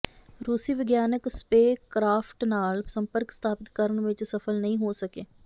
ਰੂਸੀ ਵਿਗਿਆਨਿਕ spacecraft ਨਾਲ ਸੰਪਰਕ ਸਥਾਪਿਤ ਕਰਨ ਵਿੱਚ ਸਫਲ ਨਹੀਂ ਹੋ ਸਕੇ